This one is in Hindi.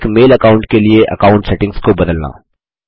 एक मेल अकाउंट के लिए अकाउंट सेटिंग्स को बदलना